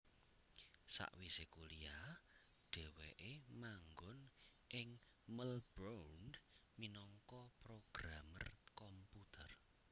Sawisé kuliah dhèwèké manggon ing Melbourne minangka programer komputer